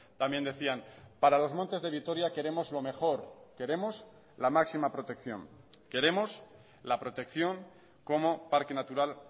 también decían para los montes de vitoria queremos lo mejor queremos la máxima protección queremos la protección como parque natural